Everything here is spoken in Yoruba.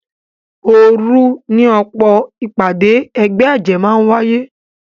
Òròòru ni ọ̀pọ̀ ìpàdé ẹgbẹ́ àjẹ́ máa ń wáyé